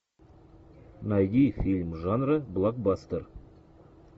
найди фильм жанра блокбастер